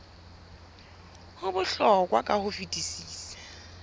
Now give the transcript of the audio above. ho bohlokwa ka ho fetisisa